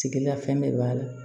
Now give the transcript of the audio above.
Sigila fɛn bɛɛ b'a la